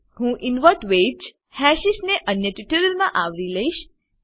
હું inverted hashes ને અન્ય ટ્યુટોરીયલ માં આવરી લઈશ